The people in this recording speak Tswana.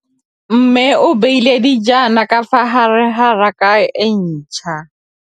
Mmê o beile dijana ka fa gare ga raka e ntšha.